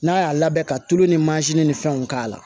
N'a y'a labɛn ka tulu ni mansin ni fɛnw k'a la